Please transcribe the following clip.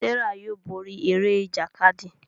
Serah yóò bóri Eré Ìjàkadì.